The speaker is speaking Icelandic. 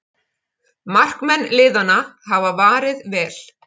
Markmenn liðanna hafa varið vel